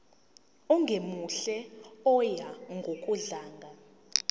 ongemuhle oya ngokudlanga